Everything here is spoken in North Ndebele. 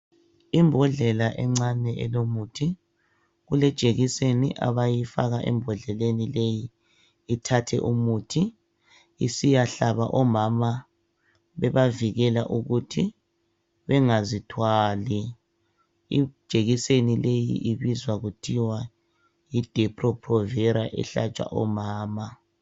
Imbodlela encane elomuthi kulejekiseni abayifaka embodleleni leyi ithathe umuthi isiyahlaba omama bebazivikela ukuthi bengazithwali. Ijekiseni leyi ibizwa kuthiwa yidepo provera ehlatshwa omama.